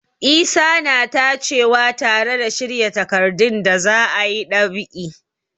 Isa na tacewa tare da shirya takardun da za a yi ɗab'i.